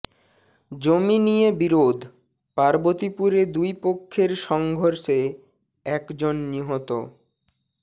জমি নিয়ে বিরোধ পার্বতীপুরে দুই পক্ষের সংঘর্ষে একজন নিহত